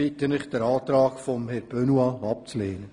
Ich bitte Sie, den Antrag von Grossrat Benoit abzulehnen.